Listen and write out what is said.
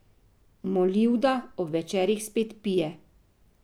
Molivda ob večerih spet pije.